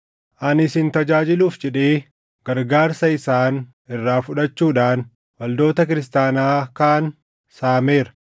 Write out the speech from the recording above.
Ani isin tajaajiluuf jedhee gargaarsa isaan irraa fudhachuudhaan waldoota kiristaanaa kaan saameera.